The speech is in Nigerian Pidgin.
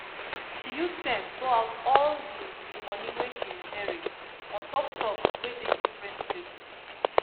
she use sense go out all the the money wey she inherit untop stocks wey dey different places